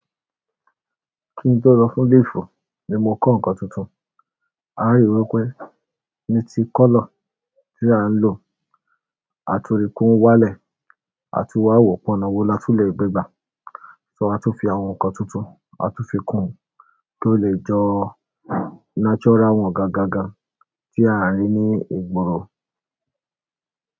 Kí n tó lọ fún leave, ni mo kọ́ nǹkan tuntun, aá ri wípé ní tí colour tí à ń lò àti òrùn kún wálẹ̀ àti wá wọ́pọ̀ náà wo láti lè gbé gbà, ṣòó a tún fi àwọn nǹkan tuntun a tún fi kùn kí ó lè jọ natural one gan-an gangan tí à ń rí ní ìgboro.